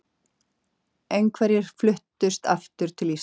Einhverjir fluttust aftur til Íslands.